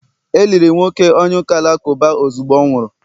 e liri nwoke onye uka Alakụba ozugbo ọ nwụrụ